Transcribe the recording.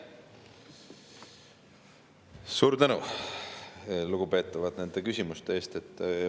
Suur tänu, lugupeetavad, nende küsimuste eest!